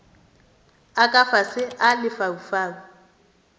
a ka fase a lefaufau